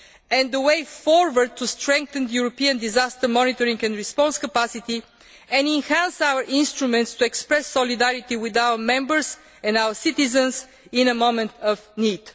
and the way forward to strengthen European disaster monitoring and response capacity and enhance our instruments to express solidarity with our members and our citizens in moments of need.